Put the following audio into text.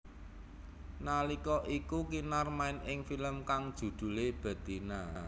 Nalika iku Kinar main ing film kang judhulé Betina